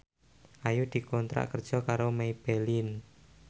Ayu dikontrak kerja karo Maybelline